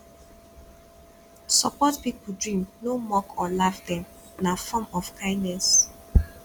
support pipo dream no mock or laugh dem na form of kindness